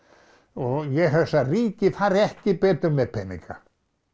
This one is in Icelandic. og ég hugsa að ríkið fari ekki betur með peninga